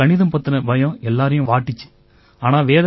ஏன்னா கணிதம் பத்தின பயம் எல்லாரையும் வாட்டுச்சு